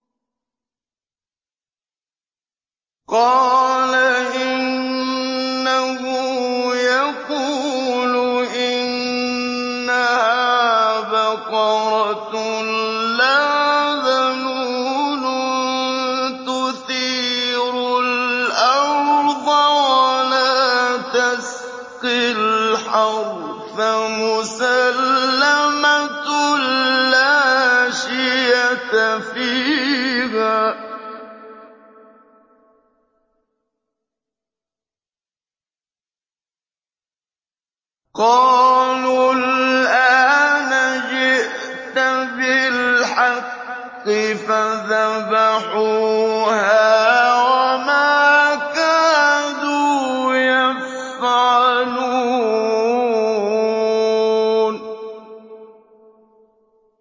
قَالَ إِنَّهُ يَقُولُ إِنَّهَا بَقَرَةٌ لَّا ذَلُولٌ تُثِيرُ الْأَرْضَ وَلَا تَسْقِي الْحَرْثَ مُسَلَّمَةٌ لَّا شِيَةَ فِيهَا ۚ قَالُوا الْآنَ جِئْتَ بِالْحَقِّ ۚ فَذَبَحُوهَا وَمَا كَادُوا يَفْعَلُونَ